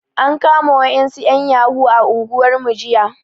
An kama wasu ƴan yahoo yahoo a unguwarmu jiya